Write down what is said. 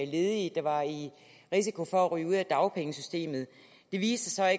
ledige der var i risiko for at ryge ud af dagpengesystemet det viste sig